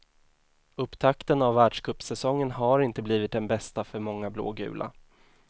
Upptakten av världscupsäsongen har inte blivit den bästa för många blågula.